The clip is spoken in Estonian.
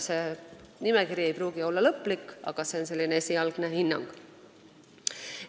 See nimekiri ei pruugi olla lõplik, see on selline esialgne hinnang.